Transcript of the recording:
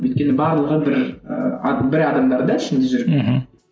өйткені барлығы бір і бір адамдар да ішінде жүрген мхм